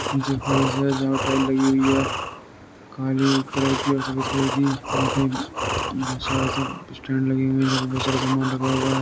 नीचे फरश है जहां टाइल्स लगी हुई है काली कलर की और सफेद कलर की यहाँ पे बहुत सारा सब स्टैंड लगे हुए हैं जहाँ पर बहुत सारा सामान रखा हुआ है।